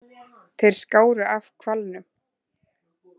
Þeir skáru af hvalnum.